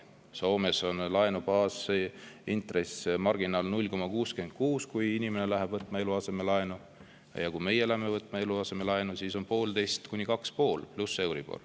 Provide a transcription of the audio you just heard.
Soomes on laenu baasintress, marginaal 0,66%, kui inimene läheb võtma eluasemelaenu, aga kui meie läheme võtma eluasemelaenu, siis on see 1,5–2,5% pluss euribor.